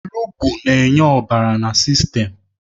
Olugbu na-enye ọbara na sistem